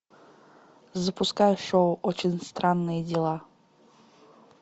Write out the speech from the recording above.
запускай шоу очень странные дела